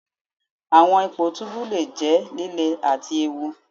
Awọn ipo tubu le jẹ lile ati eewu.